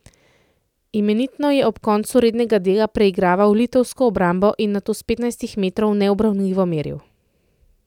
Imenitno je ob koncu rednega dela preigraval litovsko obrambo in nato s petnajstih metrov neubranljivo meril.